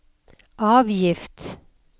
avgift